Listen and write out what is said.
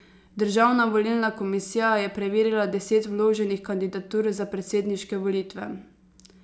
Državna volilna komisija je preverila deset vloženih kandidatur za predsedniške volitve.